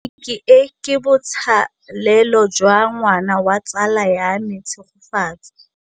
Tleliniki e, ke botsalêlô jwa ngwana wa tsala ya me Tshegofatso.